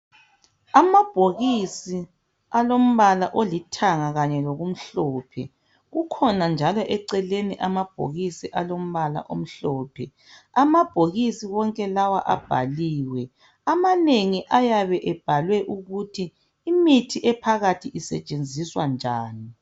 Amabhokisi alombala olithanga kanye lokumhlophe. Kukhona njalo eceleni amabhokisi alombala omhlophe. Amabhokisi wonke lawa abhaliwe. Amanengi ayabe ebhalwe ukuthi imithi ephakathi isetshenziswa njani.